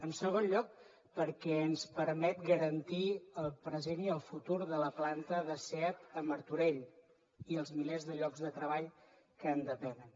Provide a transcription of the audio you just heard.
en segon lloc perquè ens permet garantir el present i el futur de la planta de seat a martorell i els milers de llocs de treball que en depenen